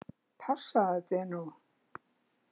Passaðu þig nú!